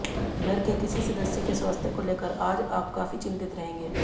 घर के किसी सदस्य के स्वास्थ्य को लेकर आज आप काफी चिंतित रहेंगे